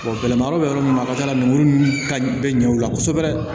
gɛlɛma yɔrɔ bɛ yɔrɔ min na a ka ca ala fɛ lemuru ninnu ka bɛ ɲɛ o la kosɛbɛ